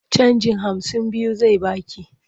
Canjin hamsin biyu zai ba ki.